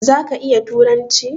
Zaka iya turanci?